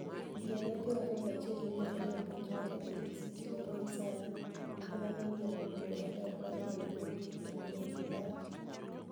Ja higa piero ariyo gi achiel miluonigo nii Abich maja piniy City Leroy Saani e e mani e oyier jatugo maber bani'g loyo gol kenido koniyo tim mare .